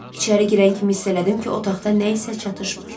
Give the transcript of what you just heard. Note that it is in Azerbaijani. İçəri girən kimi hiss elədim ki, otaqda nəyisə çatışmır.